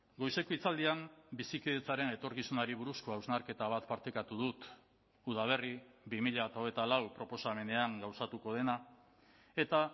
goizeko hitzaldian bizikidetzaren etorkizunari buruzko hausnarketa bat partekatu dut udaberri bi mila hogeita lau proposamenean gauzatuko dena eta